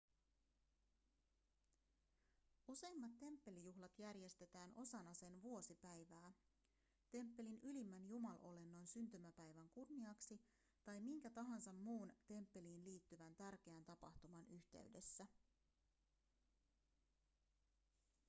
useimmat temppelijuhlat järjestetään osana sen vuosipäivää temppelin ylimmän jumalolennon syntymäpäivän kunniaksi tai minkä tahansa muun temppeliin liittyvän tärkeän tapahtuman yhteydessä